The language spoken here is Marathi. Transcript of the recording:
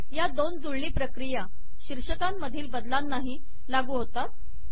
या दोन जुळणी प्रक्रिया शीर्षकांमधील बदलांनाही लागू होतात